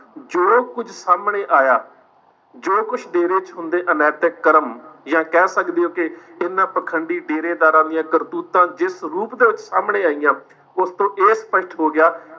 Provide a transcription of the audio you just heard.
ਜੋ ਕੁੱਝ ਸਾਹਮਣੇ ਆਇਆ ਜੋ ਕੁੱਝ ਡੇਰੇ ਚ ਹੁੰਦੇ ਅਨੈਤਿਕ ਕਰਮ ਜਾਂ ਕਹਿ ਸਕਦੇ ਓ ਕਿ ਇਹਨਾਂ ਪਾਖੰਡੀ ਡੇਰੇਦਾਰਾਂ ਦੀਆਂ ਕਰਤੂਤਾਂ ਜਿਸ ਰੂਪ ਦੇ ਵਿੱਚ ਸਾਹਮਣੇ ਆਈਆਂ ਉਸ ਤੋਂ ਇਹ ਸਪੱਸ਼ਟ ਹੋ ਗਿਆ